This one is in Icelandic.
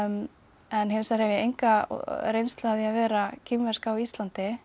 en hins vegar hef ég enga reynslu af því að vera kínversk á Íslandi